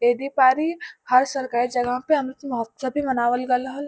एह दीपारी हर सरकारी जगह पे अमृत महोत्सव भी मनावल गईल रहल।